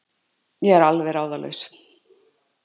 Ég er alveg ráðalaus.